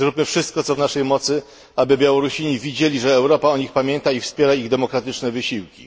Zróbmy wszystko, co w naszej mocy, aby Białorusini widzieli, że Europa o nich pamięta i wspiera ich demokratyczne wysiłki.